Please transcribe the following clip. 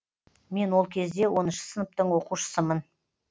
мен ол кезде оныншы сыныптың оқушысымын